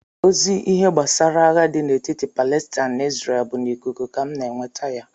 Ozi ihe gbasara agha dị n'etiti Palestine na Isreal bụ n'ikuku ka m na-enweta ya